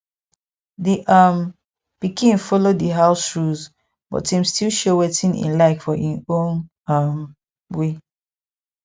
d um pikin follow di house rules but im still show wetin e like for im own um way